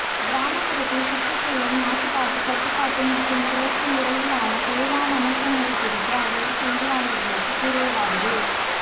கிராமப்புறத்தில் சுற்றுச் சூழல் மாசுபாட்டுக் கட்டுப்பாடு மற்றும் சுழற்சி முறையிலான வேளாண் அமைப்புமுறை குறித்து அவர் செய்தியாளர்களுக்குக் கூறியதாவது